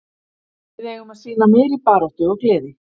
Við eigum að sýna meiri baráttu og gleði.